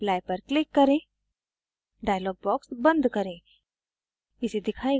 अब apply पर click करें dialog box बंद करें